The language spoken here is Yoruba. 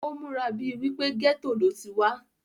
ó múra bíi wípé gẹ́tò ló ti wá